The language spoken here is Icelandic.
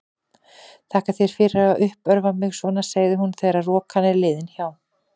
Þakka þér fyrir að uppörva mig svona, segir hún þegar rokan er liðin hjá.